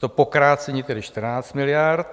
To pokrácení tedy 14 miliard.